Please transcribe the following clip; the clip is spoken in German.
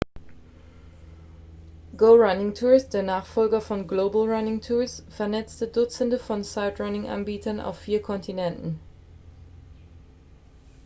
go running tours der nachfolger von global running tours vernetzt dutzende von sightrunning-anbietern auf vier kontinenten